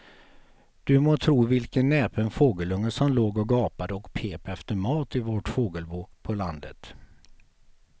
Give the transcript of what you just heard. Du må tro vilken näpen fågelunge som låg och gapade och pep efter mat i vårt fågelbo på landet.